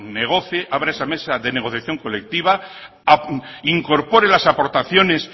negocie abra esa mesa de negociación colectiva incorpore las aportaciones